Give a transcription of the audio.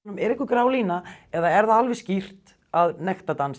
er einhver grá lína er það alveg skýrt að nektardans